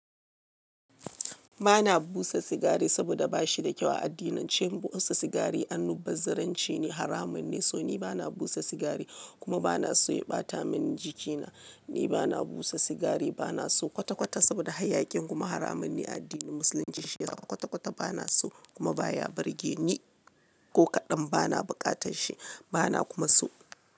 Ba na busa sigari saboda ba shi da kyau a addinance. Busa sigari annubazziranci ne, haramun ne, so ni ba na busa sigari kuma ba na so ya ɓata mini jikina. Ni ba na busa sigari, ba na so kwata kwata saboda hayyaƙin kuma haramun ne a addinin musulunci. Shiyasa kwata kwata ba na so kuma ba ya burge ni ko kaɗan. Ba na buƙatar shi, ba na kuma so.